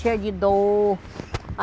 Cheia de dor.